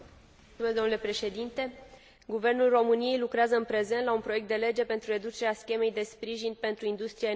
Guvernul României lucrează, în prezent, la un proiect de lege pentru reducerea schemei de sprijin pentru industria energiilor regenerabile.